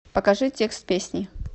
покажи текст песни